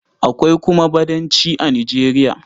Akwai kuma Badanci a Nijeriya.